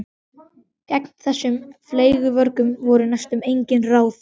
Gegn þessum fleygu vörgum voru næstum engin ráð.